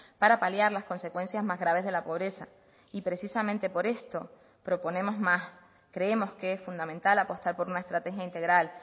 para paliar las consecuencias más graves de la pobreza y precisamente por esto proponemos más creemos que es fundamental apostar por una estrategia integral